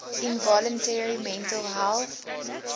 involuntary mental health